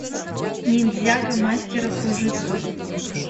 ниндзяго мастера кружитцу